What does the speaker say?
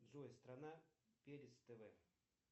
джой страна перец тв